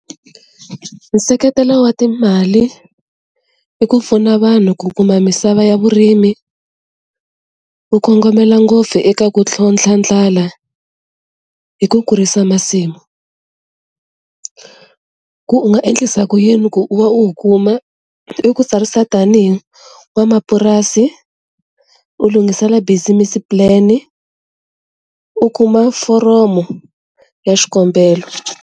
Nseketelo wa timali i ku pfuna vanhu ku kuma misava ya vurimi, wu kongomelo ngopfu eka ku tlhontlha ndlala hi ku kurisa masimu. Ku u nga endlisa ku yini ku u va u wu kuma i ku tsarisa tanihi n'wamapurasi u lunghisela business plan u kuma foromo ya xikombelo.